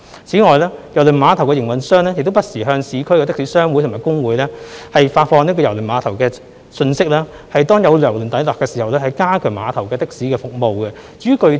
此外，郵輪碼頭的營運商亦不時向市區的士商會和工會發放郵輪碼頭的信息，以便當有郵輪抵達時可加強碼頭的的士服務。